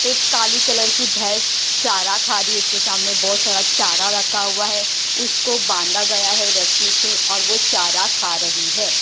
एक काली कलर की भैंस चारा खा रही है उसके सामने बहुत सारा चारा रखा हुआ है उसको बांधा गया है रस्सी से और वो चारा खा रही है।